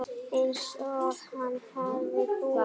Einsog hann hefði búið.